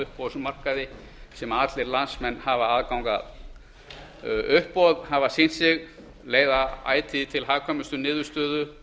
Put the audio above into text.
uppboðsmarkaði sem allir landsmenn hafa aðgang að uppboð hafa sýnt sig leiða ætíð til hagkvæmustu niðurstöðu